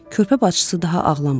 Körpə bacısı daha ağlamırdı.